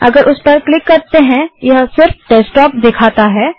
यदि हम उस पर क्लिक करते हैं यह सिर्फ डेस्कटॉप दिखाता है